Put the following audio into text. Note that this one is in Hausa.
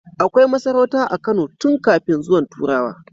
Akai masarauta a Kano tun kafin zuwan turawa